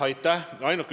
Aitäh!